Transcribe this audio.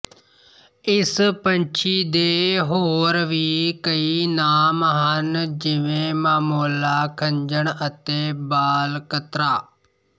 ਇਸ ਪੰਛੀ ਦੇ ਹੋਰ ਵੀ ਕਈ ਨਾਮ ਹਨ ਜਿਵੇਂ ਮਾਮੋਲਾ ਖੰਜਣ ਅਤੇ ਬਾਲਕਤਰਾ